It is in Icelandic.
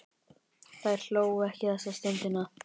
Þær hlógu ekki þessa stundina.